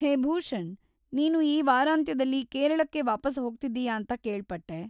ಹೇ ಭೂಷಣ್‌, ನೀನು ಈ ವಾರಾಂತ್ಯದಲ್ಲಿ ಕೇರಳಕ್ಕೆ ವಾಪಸ್‌ ಹೋಗ್ತಿದ್ದೀಯಾ ಅಂತ ಕೇಳ್ಪಟ್ಟೆ.